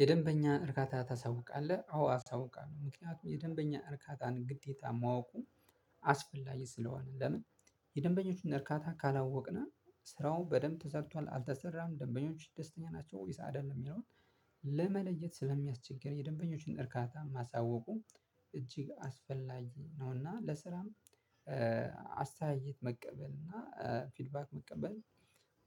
የደንበኛ እርካታ ታሳውቃለህ? አዎ አሳውቃለሁ ምክንያቱም የደንበኛን እርካታን ግዴታ ማወቁ። አስፈላጊ ስለሆነ ለምን የደንበኞችን እርካታ ካላወቅነ ስራው በደንብ ተሰርቷል አልተሰራም ደንበኞች ደስተኛ ናቸው ወይስ አይደለም የሚለውን። ለመለየት ስለሚያስቸግር የደንበኞችን እርካታ ማሳወቁ እጅግ አስፈላጊ ነውና። ለስራም አስተያየት መቀበል እና ፊድባክ መቀበል።